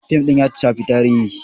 Fim din ya shafi tarihi.